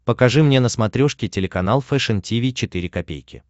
покажи мне на смотрешке телеканал фэшн ти ви четыре ка